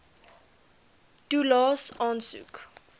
toelaes aansoek